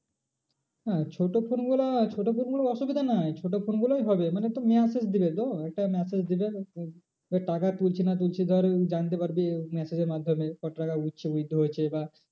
না ছোটো phone গুলো ছোটো phone গুলো অসুবিধা নাই ছোটো phone গুলোই হবে মানে তোর message দিবে তো একটা message দেবে তোকে, এবার টাকা তুলছে না তুলছে ধর তুই জানতে পারবি ওই message এর মাধ্যমে কত টাকা উঠছে withdrawal হয়েছে বা